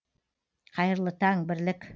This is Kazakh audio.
қайырлы таң бірлік